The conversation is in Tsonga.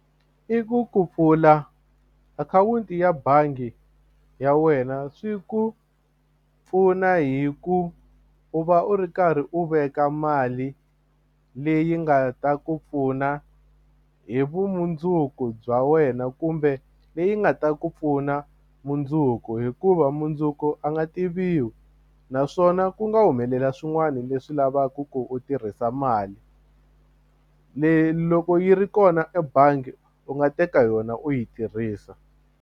I ku ku pfula akhawunti ya bangi ya wena swi ku pfuna hi ku u va u ri karhi u veka mali leyi nga ta ku pfuna hi vumundzuku bya wena kumbe leyi nga ta ku pfuna mundzuku hikuva mundzuku a nga tiviwi naswona ku nga humelela swin'wani leswi lavaka ku u tirhisa mali leyi loko yi ri kona ebangi u nga teka yona u yi tirhisa.